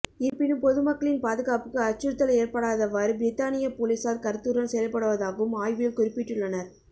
இருப்பினும் பொதுமக்களின் பாதுகாப்புக்கு அச்சுறுத்தல் ஏற்படாதவாறு பிரித்தானிய பொலிசார் கருத்துடன் செயல்படுவதாகவும் ஆய்வில் குறிப்பிட்டுள்ளனர்